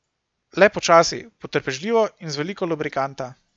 Le počasi, potrpežljivo in z veliko lubrikanta.